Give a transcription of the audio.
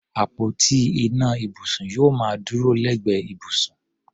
Àpótí ìná ibùsùn yóò máa dúró lẹ́gbẹ̀ẹ́ ibùsùn.